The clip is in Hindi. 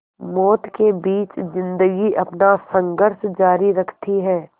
मौत के बीच ज़िंदगी अपना संघर्ष जारी रखती है